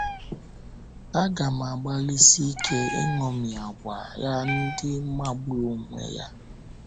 Agam agbalịsi ike iṅomi àgwà ya ndị magburu onwe ha. ”